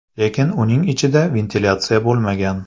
Lekin uning ichida ventilyatsiya bo‘lmagan”.